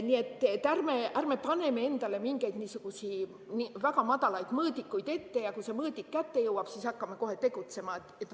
Nii et ärme paneme endale mingeid väga madalaid mõõdikuid ette, ja kui see mõõdik kätte jõuab, siis hakkame kohe tegutsema.